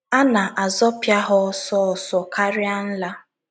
A na - azọpịa ha ọsọ ọsọ karịa nla.